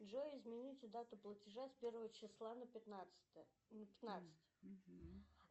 джой измените дату платежа с первого числа на пятнадцатое на пятнадцать